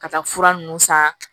Ka taa fura nunnu san